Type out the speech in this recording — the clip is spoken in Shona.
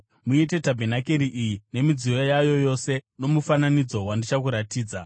Muite tabhenakeri iyi nemidziyo yayo yose nomufananidzo wandichakuratidza.